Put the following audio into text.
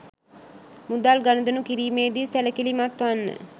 මුදල් ගනුදෙනු කිරීමේ දී සැලකිලිමත් වන්න